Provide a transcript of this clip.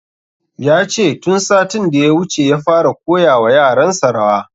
Yace tun satin da ya wuce ya fara koya wa yaran sa rawa